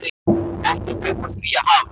Ekkert upp úr því að hafa!